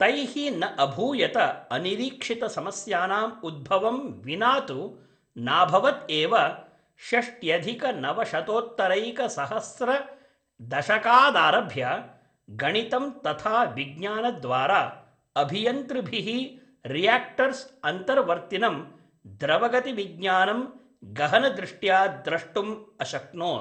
तैः न अभूयत अनिरीक्षितसमस्यानां उद्भवं विना तु नाभवत् एव षष्ट्यधिकनवशतोत्तरैकसहस्रदशकादारभ्य, गणितं तथा विज्ञानद्वारा, अभियन्तृभिः रियाक्टर्स् अन्तर्वर्तिनं द्रवगतिविज्ञानं गहनदृष्ट्या द्रष्टुं अशक्नोत्।